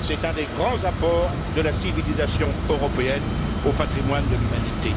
C'est un des grands apports de la civilisation européenne au patrimoine de l'humanité.